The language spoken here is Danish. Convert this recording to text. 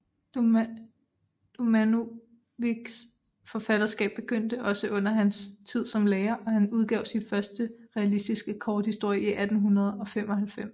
Domanovićs forfatterskab begyndte også under hans tid som lærer og han udgav sin første realistiske korthistorie i 1895